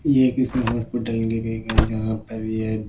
ये किसी हॉस्पिटल की भी है जहाँ पर यह--